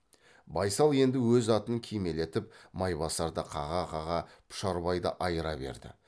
байсал енді өз атын кимелетіп майбасарды қаға қаға пұшарбайды айыра берді